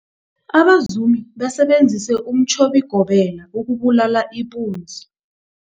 Abazumi basebenzise umtjhobigobela ukubulala ipunzi.